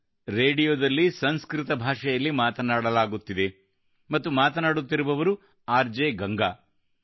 ಇದು ರೇಡಿಯೋದಲ್ಲಿ ಸಂಸ್ಕೃತ ಭಾಷೆಯಲ್ಲಿ ಮಾತನಾಡಲಾಗುತ್ತಿದೆ ಮತ್ತು ಮಾತನಾಡುತ್ತಿರುವವರು ಆರ್ ಜೆ ಗಂಗಾ